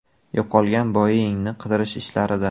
Yo‘qolgan Boeing‘ni qidirish ishlarida.